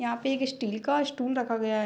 यहाँ पे एक स्टील का स्टूल रखा गया --